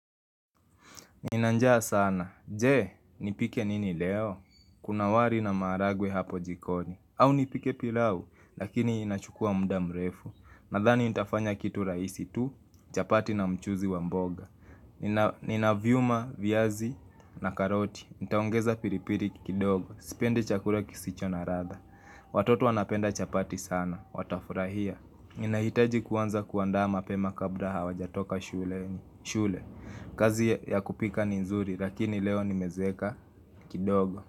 Ninanjaa sana. Jee, nipike nini leo? Kuna wali na maharagwe hapo jikoni. Au nipike pilau, lakini inachukua muda mrefu. Nadhani nitafanya kitu raisi tu, chapati na mchuuzi wa mboga. Nina viuma, viazi na karoti. Nitaongeza pilipili kidogo. Sipendi chakula kisicho na ladha Watoto wanapenda chapati sana. Watafurahia. Ninahitaji kuanza kuandaa mapema kabla hawajatoka shuleni shule, kazi ya kupika ni nzuri Lakini leo nimezeeka kidogo.